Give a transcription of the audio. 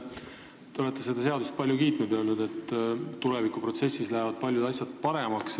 Te olete seda seadust palju kiitnud ja öelnud, et tulevikus lähevad paljud asjad paremaks.